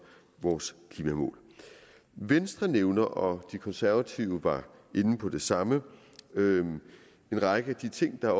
vores klimamål venstre nævner og de konservative var inde på det samme en række af de ting der er